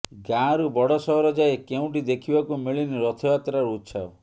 ଗାଁରୁ ବଡ଼ ସହର ଯାଏଁ କେଉଁଠି ଦେଖିବାକୁ ମିଳିନି ରଥଯାତ୍ରାର ଉତ୍ସାହ